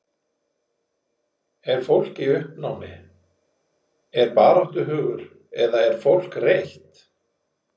Er fólk í uppnámi, er baráttuhugur eða er fólk reitt?